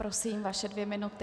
Prosím, vaše dvě minuty.